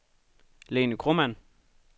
Lene Kromann